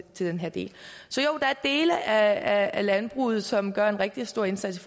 den her del så jo der er dele af landbruget som gør en rigtig stor indsats